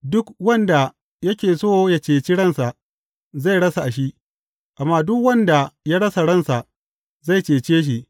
Duk wanda yake so ya ceci ransa, zai rasa shi, amma duk wanda ya rasa ransa, zai cece shi.